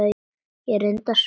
Ég reyndi að sofa.